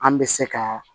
An bɛ se ka